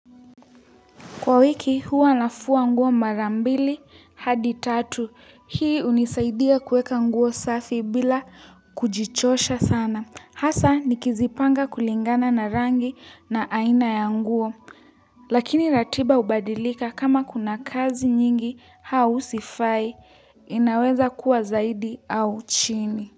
Kwa wiki huwa nafua nguo mara mbili hadi tatu. Hii hunisaidia kuweka nguo safi bila kujichosha sana. Hasa nikizipanga kulingana na rangi na aina ya nguo. Lakini ratiba hubadilika kama kuna kazi nyingi au sifai. Inaweza kuwa zaidi au chini.